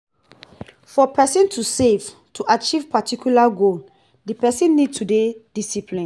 for person to save to achieve particula goal di person need to dey disciplined